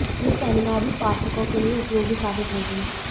यह सेमिनार भी पाठकों के लिए उपयोगी साबित होगी